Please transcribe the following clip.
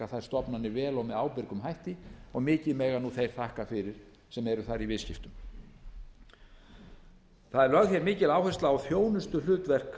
þær stofnanir vel og með ábyrgum hætti og mikið mega nú þeir þakka fyrir sem eru þar í viðskiptum það er lögð hér mikil áhersla á þjónustuhlutverk